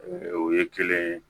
o ye kelen ye